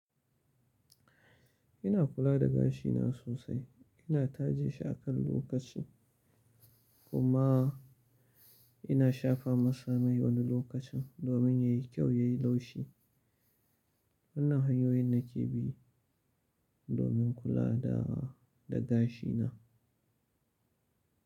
Ina kula da gashina sosai. Ina taje shi akan lokaci kuma ina shafa masa mai wani lokacin domin yayi kyau, yayi laushi. Wannan hanyoyin nake bi domin kula da gashina.